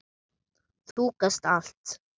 Þú gast allt!